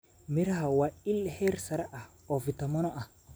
Miraha waa il heer sare ah oo fiitamiino ah.